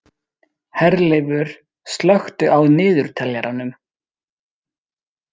Herleifur, slökktu á niðurteljaranum.